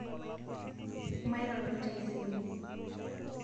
mairoro taisere